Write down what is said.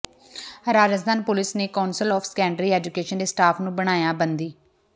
Rajasthan police ਨੇ council of secondary education ਦੇ staff ਨੂੰ ਬਣਾਇਆ ਬੰਦੀ